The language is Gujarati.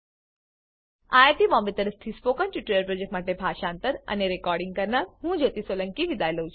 it બોમ્બે તરફથી સ્પોકન ટ્યુટોરીયલ પ્રોજેક્ટ માટે ભાષાંતર કરનાર હું જ્યોતી સોલંકી વિદાય લઉં છું